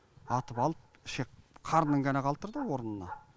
атып алып шек қарнын ғана қалдырды орнына